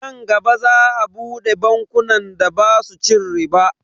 Nan gaba za a bude bankunan da basu cin riba.